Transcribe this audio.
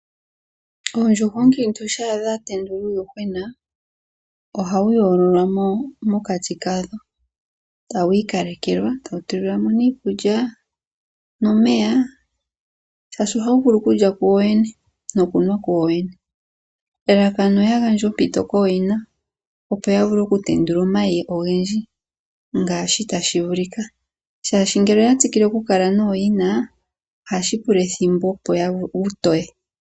Oondjuhwa ookiintu shampa dha tendula uuyuhwena ohawu yoololwamo mokati kadho tawu ikalekelwa tawu tulilwamo nee iikulya nomeya oshoka ohawu vulu okulya wowene nokunwa wowene. Elalakano owu gandje ompito kooyina opo yavule oku tendula omayi ogendji ngaashi tashi vulika ,oshoka ngele owa tsikile okukala nooyina ohashi pula ethimbo opo wutoye.